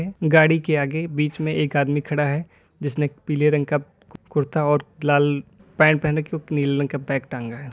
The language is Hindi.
गाड़ी के आगे बीच में एक आदमी खड़ा है जिसने एक पीले रंग का कु कुर्ता और लाल पैंट पहन रखी और नीले रंग का बैग टांगा है।